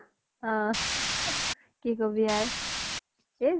অ কি কবি আৰ অ